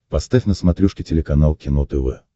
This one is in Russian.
поставь на смотрешке телеканал кино тв